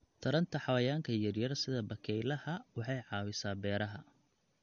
Taranta xayawaanka yaryar sida bakaylaha waxay caawisaa beeraha.